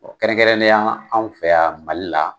Kɛrɛnkɛrɛnnenyala an fɛ yan Mali la